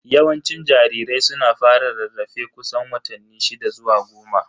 Yawancin jarirai suna fara rarrafe kusan watanni shida zuwa goma.